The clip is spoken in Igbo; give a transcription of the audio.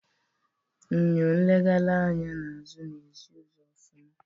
Eñyo nlegharị anya n'azụ na ezi uzo ofuma.